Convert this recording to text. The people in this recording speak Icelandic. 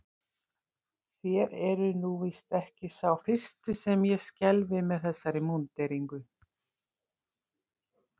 Þér eruð nú víst ekki sá fyrsti sem ég skelfi með þessari múnderingu.